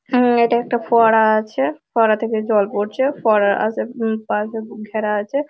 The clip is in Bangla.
হুমম এটা একটা ফোয়ারা আছে ফোয়ারা থেকে জল পড়ছে ফোয়ারার আসে উম পাশে ঘেরা আছে।